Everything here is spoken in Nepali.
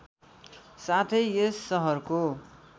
साथै यस सहरको